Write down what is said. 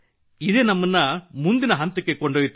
ಇದೇ ನಮ್ಮನ್ನು ಮುಂದಿನ ಹಂತಕ್ಕೆ ಕೊಂಡೊಯ್ಯುತ್ತದೆ